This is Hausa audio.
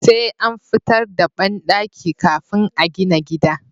Sai an fitar da banɗaki kafin a gina gida